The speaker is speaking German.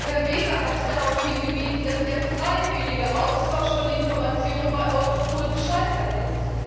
Herr Weber hat darauf hingewiesen, dass der freiwillige Austausch von Informationen bei Europol gescheitert ist.